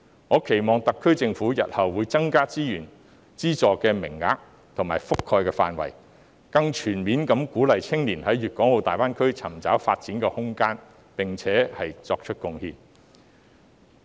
我期望特區政府日後會增加資源、資助名額，以及覆蓋範圍，更全面地鼓勵青年在粵港澳大灣區尋找發展空間，並且作出貢獻。